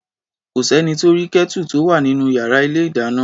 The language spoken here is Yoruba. Kò s’ẹ́ni tó rí Kẹ́tù tó wà nínú yàrá ilé-ìdáná.